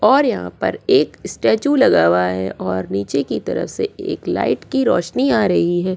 और यहां पर एक स्टैचू लगा हुआ है और नीचे की तरफ से एक लाइट की रोशनी आ रही है।